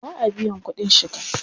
Ba a biyan kuɗin shiga.